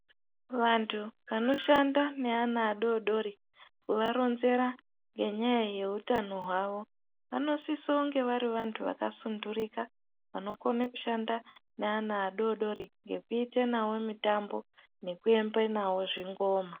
Vantu vanoshanda neana adodori, kuvaronzera ngenyaya yeutano hwavo, vanosisa kunge vari vantu vakasundurika, vanokona kushanda nevana vadodori ngekuite navo mitambo nekuembe nawo zvingoma.